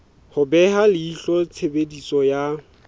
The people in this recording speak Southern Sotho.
ho beha leihlo tshebediso ya